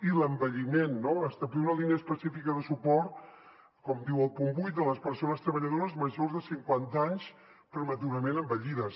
i l’envelliment no establir una línia específica de suport com diu el punt vuit a les persones treballadores majors de cinquanta anys prematurament envellides